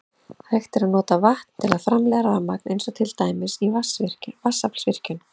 Hægt er að nota vatn til að framleiða rafmagn eins og til dæmis í vatnsaflsvirkjun.